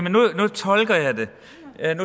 tolker jeg det